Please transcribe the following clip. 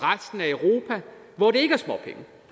usa